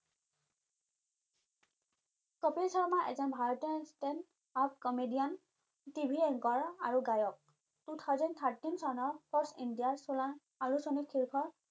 কপিল শৰ্মা এজন ভাৰতীয় standup comedian tv anchor ৰ আৰু গায়ক two thousand thirteen চনৰ আলোচনী শীৰ্ষক